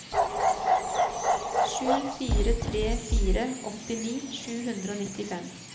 sju fire tre fire åttini sju hundre og nittifem